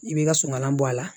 I b'i ka sunkalan bɔ a la